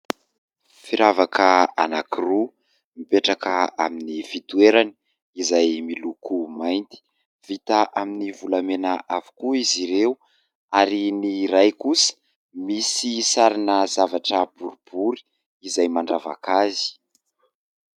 Firavaka anankiroa mipetraka amin'ny fitoerany izay miloko mainty. Vita amin'ny volamena avokoa izy ireo, ary ny iray kosa misy sarina zavatra boribory izay mandravaka azy.